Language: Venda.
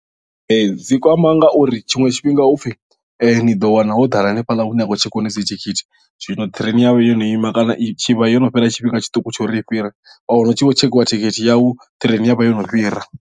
Ee dzi kwama ngauri tshiṅwe tshifhinga hupfhi ni ḓo wana ho ḓala hanefhaḽa hune ha khou tshekiwa hone dzi thikhithi zwino train ya vha yo no ima kana i vha yo no fhira tshifhinga tshiṱuku tsha uri ni fhire wa wana hu tshi vho tshekhiwa thikhithi yau train ya vha yo no fhira.